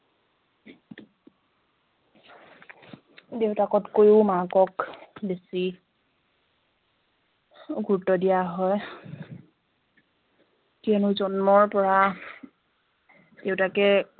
দেউতাকতকৈও মাকক বেছি গুৰুত্ব দিয়া হয় কিয়নো জন্মৰ পৰা দেউতাকে